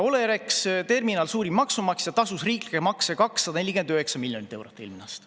Olerex Terminal, suurim maksumaksja, tasus eelmine aasta riiklikke makse 249 miljonit eurot.